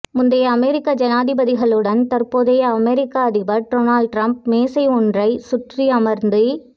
முந்தைய அமெரிக்க ஜனாதிபதிகளுடன் தற்போதைய அமெரிக்க அதிபர் டொனால்ட் ட்ரம்ப் மேசை ஒன்றை சுற்றி அமர்ந்தி